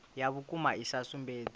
ya vhukuma i sa sumbedzi